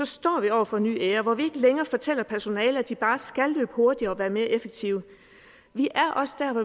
står vi over for en ny æra hvor vi længere fortæller personalet at de bare skal løbe hurtigere og være mere effektive vi er også der